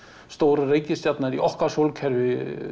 stóru reikistjarnanna í okkar sólkerfi